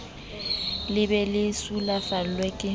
le be le sulafallwa ke